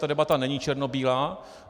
Tato debata není černobílá.